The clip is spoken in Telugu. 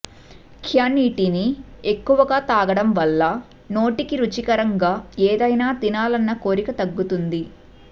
్య నీటిని ఎక్కువగా తాగడం వల్ల నోటికి రుచికరంగా ఏదైనా తినాలన్న కోరిక తగ్గుతుంది